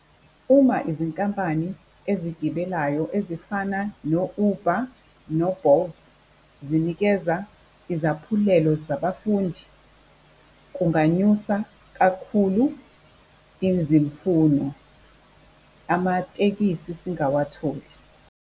Uma izinkampani ezigibelayo ezifana no-Uber no-Bolt zinikeza izaphulelo zabafundi kunganyusa kakhulu izimfuno, amatekisi singawatholi.